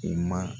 U ma